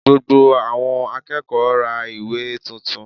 Gbogbo àwọn akẹ́kọ̀ọ́ ra ìwé tuntun